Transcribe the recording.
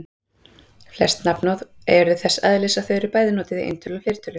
Flest nafnorð eru þess eðlis að þau eru bæði notuð í eintölu og fleirtölu.